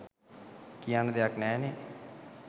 කියන්න දෙයක් නෑනේ.